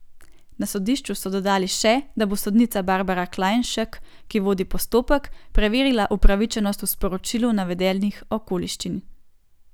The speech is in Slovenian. Na sodišču so dodali še, da bo sodnica Barbara Klajnšek, ki vodi postopek, preverila upravičenost v sporočilu navedenih okoliščin.